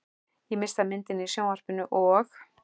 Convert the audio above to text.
Ég missi af myndinni í sjónvarpinu og.